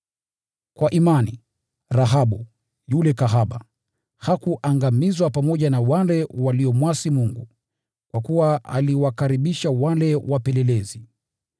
Kwa imani, Rahabu, yule kahaba, hakuangamizwa pamoja na wale waliomwasi Mungu, kwa kuwa aliwakaribisha wale wapelelezi.